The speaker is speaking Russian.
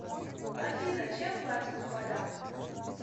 афина чем платят у поляков